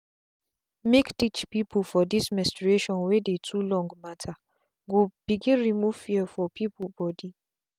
make teach peoplefor this menstration wey dey too long mattergo begin remove fear for people body.